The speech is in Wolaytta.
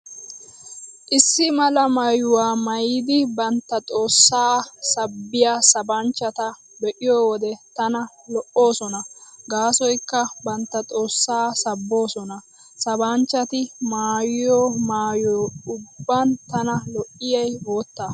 Issi mala maayuwaa maayidi bantta xoossaa sabbiyaa sabanchchata be'iyo wode tana lo'oosona gaasoykka bantta xoossaa sabboosona. Sabanchchati maayiyo maayo ubban tana lo'iyay boottaa.